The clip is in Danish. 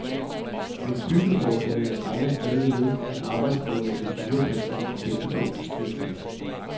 Men byggeforbundene regner stadig med, at arbejdsgiverne vil lurepasse og vente på industrien.